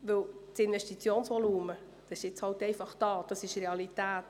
Das Investitionsvolumen besteht, das ist die Realität.